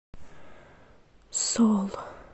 соул